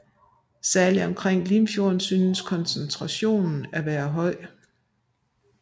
Særligt omkring Limfjorden synes koncentrationen at være høj